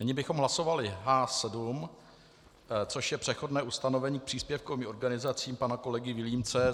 Nyní bychom hlasovali H7, což je přechodné ustanovení k příspěvkovým organizacím pana kolegy Vilímce.